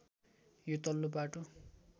यो तल्लो बाटो